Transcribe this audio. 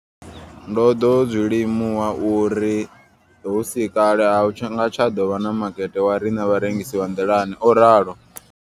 Ndo ḓo zwi limuwa uri hu si kale a hu nga tsha ḓo vha na makete wavhuḓi wa riṋe vharengisi vha nḓilani, o ralo.